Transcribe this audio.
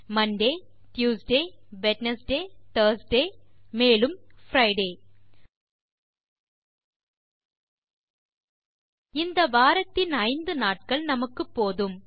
Monte Tuesday Wednesday Thursday மேலும் Friday - இந்த வாரத்தின் 5 நாட்கள் நமக்குப்போதும்